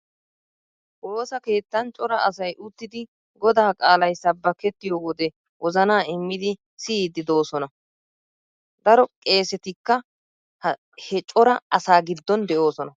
Woosa keettan cora asay uttidi godaa qaalay sabbakettiyo wode wozana immidi siyiiddi de'oosna. Daro qeesetikka he cora asaa giddon de'oosona.